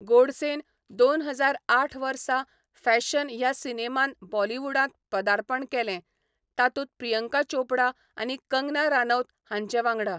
गोडसेन दोन हजार आठ वर्सा फॅशन ह्या सिनेमान बॉलिवूडांत पदार्पण केले, तातूंत प्रियंका चोपडा आनी कंगना रानौत हांचे वांगडा.